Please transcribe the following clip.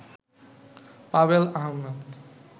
Pavel Ahmad